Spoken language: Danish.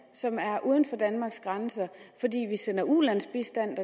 uden for danmark fordi vi sender ulandsbistand